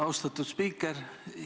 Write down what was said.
Austatud spiiker!